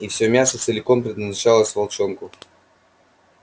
и всё мясо целиком предназначалось волчонку